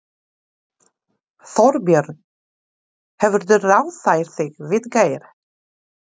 Þorbjörn: Hefurðu ráðfært þig við Geir?